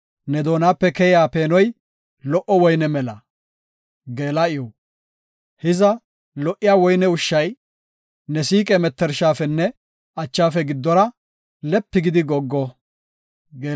Ne doonape keyiya peenoy lo77o woyne mela. Geela7iw Hiza lo77iya woyne ushshay, ne siiqe mettershafenne achafe giddora, lepi gidi goggo.